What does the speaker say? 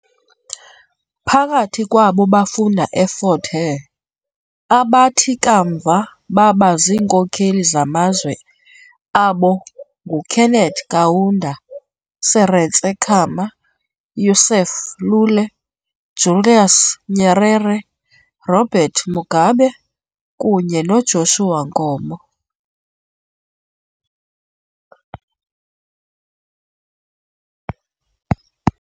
Phakathi kwabo bafunda eFort Hare abathi kamva baba ziinkokeli zamazwe abo nguKenneth Kaunda, Seretse Khama, Yusuf Lule, Julius Nyerere, Robert Mugabe kunye noJoshua Nkomo .